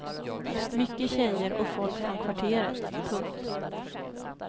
Mycket tjejer och folk från kvarteret. punkt